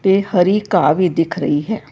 ਤੇ ਹਰੀ ਘਾਹ ਵੀ ਦਿਖ ਰਹੀ ਹੈ।